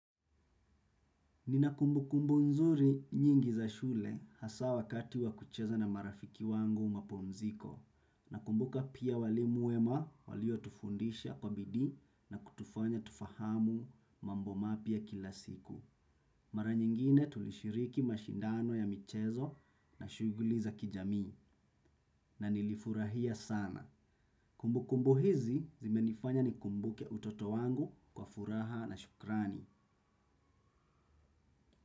Nina kumbukumbu nzuri nyingi za shule hasa wakati wakucheza na marafiki wangu mapumziko. Nakumbuka pia walimu wema walio tufundisha kwa bidii na kutufanya tufahamu mambo mapya kila siku. Mara nyingine tulishiriki mashindano ya michezo na shughuli za kijamii na nilifurahia sana. Kumbu kumbu hizi zimenifanya ni kumbuke utoto wangu kwa furaha na shukrani.